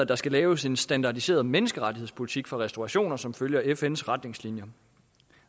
der skal laves en standardiseret menneskerettighedspolitik for restaurationer som følger fns retningslinjer